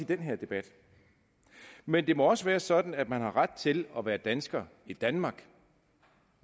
den her debat men det må også være sådan at man har ret til at være dansker i danmark